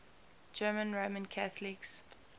german roman catholics